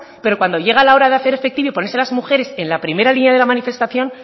pero cuando llega la hora de hacer efectivo y ponerse las mujeres en la primera línea de la manifestación